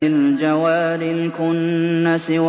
الْجَوَارِ الْكُنَّسِ